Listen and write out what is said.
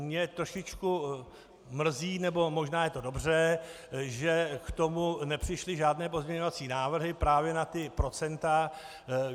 Mě trošičku mrzí, nebo možná je to dobře, že k tomu nepřišly žádné pozměňovací návrhy, právě na ta procenta.